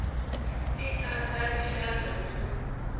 ti ta ta rixaka na